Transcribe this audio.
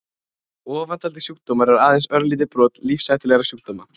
Ofantaldir sjúkdómar eru aðeins örlítið brot lífshættulegra sjúkdóma.